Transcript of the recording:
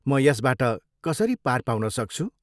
म यसबाट कसरी पार पाउन सक्छु?